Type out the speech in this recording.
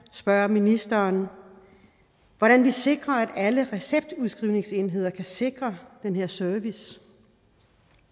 spørge ministeren hvordan vi sikrer at alle receptudskrivningsenheder kan sikre den her service